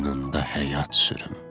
Qoynunda həyat sürüm.